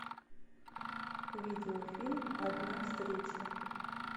видеофильм одна встреча